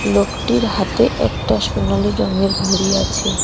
লোকটির হাতে একটা সোনালী রঙের ঘড়ি আছে।